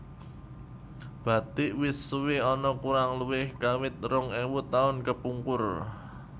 Bathik wis suwé ana kurang luwih kawit rong ewu taun kepungkur